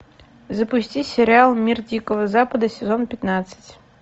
запусти сериал мир дикого запада сезон пятнадцать